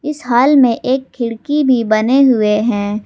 इस हॉल में एक खिड़की भी बने हुए है।